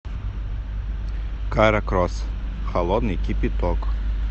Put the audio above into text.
кара кросс холодный кипяток